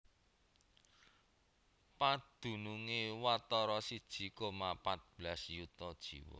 Padunungé watara siji koma pat belas yuta jiwa